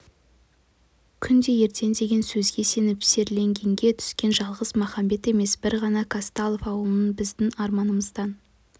күнде ертең деген сөзге сеніп сергелдеңге түскен жалғыз махамбет емес бір ғана қазталов ауылында біздің арнамыздан